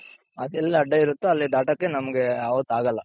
ಅದೆಲ್ಲಿ ಅಡ್ಡ ಇರುತ್ತೋ ಅಲ್ಲಿ ದಾಟೋಕೆ ನಮ್ಗೆ ಅವತ್ತಾಗಲ್ಲ.